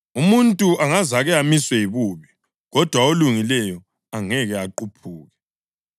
Umuntu angazake amiswe yibubi, kodwa olungileyo angeke aquphuke.